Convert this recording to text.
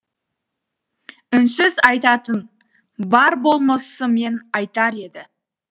үнсіз айтатын бар болмысымен айтар еді